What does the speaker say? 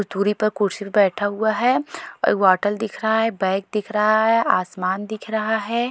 जो दूरी पर कुर्सी पर बैठा हुआ है एक बॉटल दिख रहा है बैग दिख रहा है आसमान दिख रहा है।